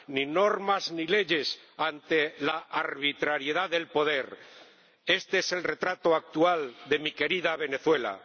ni normas ni leyes ante la arbitrariedad del poder este es el retrato actual de mi querida Venezuela.